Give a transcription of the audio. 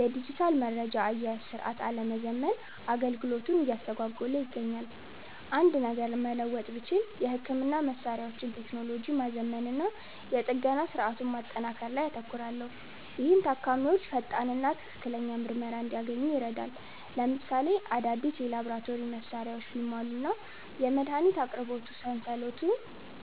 የዲጂታል መረጃ አያያዝ ሥርዓት አለመዘመን አገልግሎቱን እያስተጓጎለ ይገኛል። አንድ ነገር መለወጥ ብችል፣ የሕክምና መሣሪያዎችን ቴክኖሎጂ ማዘመንና የጥገና ሥርዓቱን ማጠናከር ላይ አተኩራለሁ፤ ይህም ታካሚዎች ፈጣንና ትክክለኛ ምርመራ እንዲያገኙ ይረዳል። ለምሳሌ፣ አዳዲስ የላቦራቶሪ መሣሪያዎች ቢሟሉና የመድኃኒት አቅርቦት